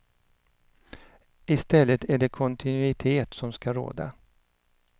I stället är det kontinuitet som ska råda.